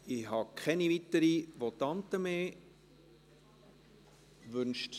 Ich habe keine weiteren Votanten mehr auf der Liste.